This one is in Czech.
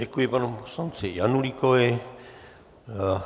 Děkuji panu poslanci Janulíkovi.